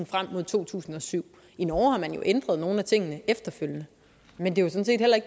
frem mod to tusind og syv i norge har man jo ændret nogle af tingene efterfølgende men det